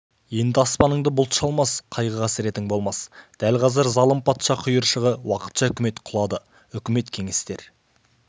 енді аспаныңды бұлт шалмас қайғы-қасіретің болмас дәл қазір залым патша құйыршығы уақытша үкімет құлады өкімет кеңестер